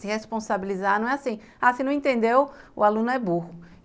se responsabilizar, não é assim, ah, se não entendeu, o aluno é burro.